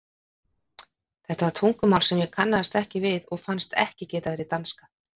Þetta var tungumál sem ég kannaðist ekki við og fannst ekki geta verið danska.